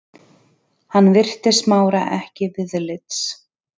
Hann virti Smára ekki viðlits.